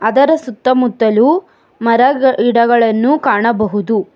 ಅದರ ಸುತ್ತ ಮುತ್ತಲು ಮರ ಗಿಡಗಳನ್ನು ಕಾಣಬಹುದು.